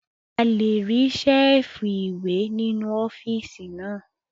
A lè rí Ṣẹ́ẹ̀fù ìwé nínú ọ́fíìsì náà